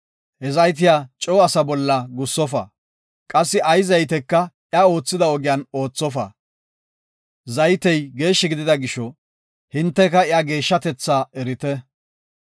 He zaytiya coo asa bolla gussofa; qassi ay zayteka iya oothida ogiyan oothofa. Zaytey geeshshi gidida gisho, hinteka iya geeshshatetha erite.